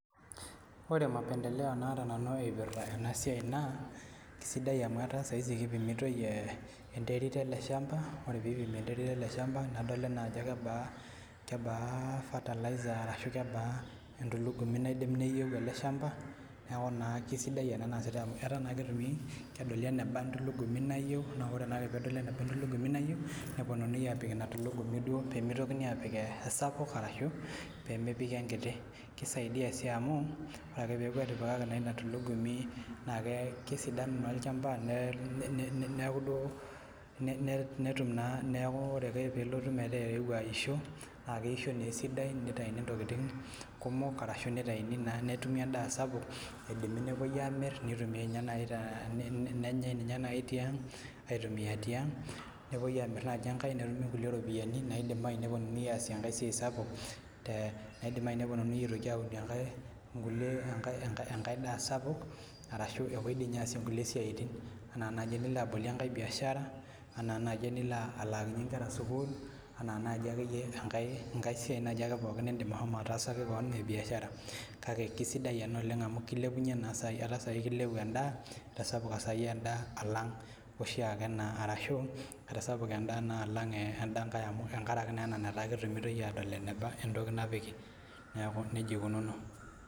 Ore mapendeleo naata nanu ipirta ena siai naa kisiidai amu etaa saa hizi kipimitoi ee enterit ele shamba. Ore piipimi enterit ele shamba, nedoli naa kebaa kebaa fertilizer arashu kebaa entulugumi naidim neyeu ele shamba, neeku naa kesidai ena naasitai amu etaa naa ketumi kedoli eneba entulugumi nayeu naa ore naake peedoli eneba entulugumi nayeu neponunui aapik ina tulugumi duo pee mitokini aapik esapuk arashu pee mepiki enkiti. Kisaidia sii amu ore ake peeku etipikaki naa ina tulugumi naake kesidanu naa olchamba ne ne neeku duo ne netum naa neeku ore pe peelotu metaa eewuo aisho naake eisho naa esidai nitayuni ntokitin kumok arashu nitayuni naa netumi endaa sapuk, idimi nepuoi aamir nitumiai ninye nai te ne nenyai ninye nai tiang' aitumia tiang', nepuoi aamir naaji ninye enkae netumi kulie ropiani naidim nai neponunui aasie enkae siai sapuk te naidim nai neponunui aitoki aunie enkae nkulie enkae enkae enkae daa sapuk arashu epuoi ninye aasie nkulie siaitin anaa naji enilo abolie enkae biashara, anaa naji enilo alaakinye nkera sukuul, enaa naaji akeyie enkae enkae siai naaji ake pookin niindim ashomo ataasaki kewon e biashara. Kake ke sidai ena oleng' amu kilepunye naa saai etaa saai kilepu endaa etasapuka saai endaa alang' oshi ake naa arashu etasapuka endaa naa alang' ee enda nkae amu tenkaraki naa ena netaa ketumitoi aadol eneba entoki napiki. Neeku neija ikununo.